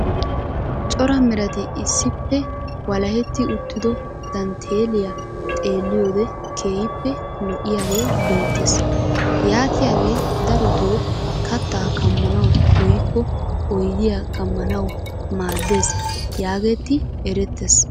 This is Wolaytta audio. Cora merati issippe walaheti uttido dantteeliyaa xeelliyoode keehippe lo"iyaagee beettees. yaatiyaagee darotoo kattaa kammanawu woykko oydiyaa kammanawu maaddes yaagegetti erettees.